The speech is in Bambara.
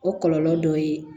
O kɔlɔlɔ dɔ ye